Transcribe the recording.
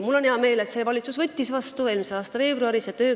Mul on hea meel, et see valitsus selle määruse eelmise aasta veebruaris andis.